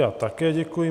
Já také děkuji.